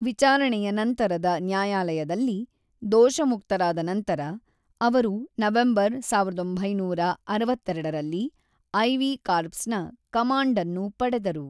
ವಿಚಾರಣೆಯ ನಂತರದ ನ್ಯಾಯಾಲಯದಲ್ಲಿ ದೋಷಮುಕ್ತರಾದ ನಂತರ, ಅವರು ನವೆಂಬರ್ ಸಾವಿರದ ಒಂಬೈನೂರ ಅರವತ್ತೆರಡರಲ್ಲಿ ಐ ವಿ ಕಾರ್ಪ್ಸ್‌ನ ಕಮಾಂಡ್‌ ಅನ್ನು ಪಡೆದರು.